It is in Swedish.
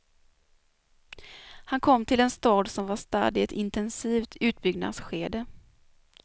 Han kom till en stad som var stadd i ett intensivt utbyggnadsskede.